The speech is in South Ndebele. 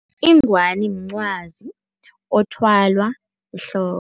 Ingwani mncwazi othwalwa ehloko.